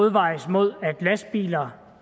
opvejes mod at lastbiler